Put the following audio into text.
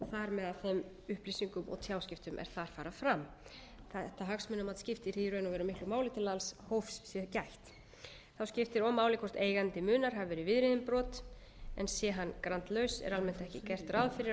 með að þeim upplýsingum og tjáskiptum er þar fara fram þetta hagsmunamat skiptir því í raun og veru miklu máli til að alls hófs sé gætt þá skiptir og máli hvort eigandi munar hafi verið viðriðinn brot sé hann grandlaus er almennt ekki gert ráð fyrir að munir í hans